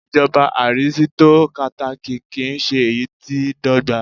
Ìjọba arisitokátákì kì ń ṣe èyí tí dọ́gba.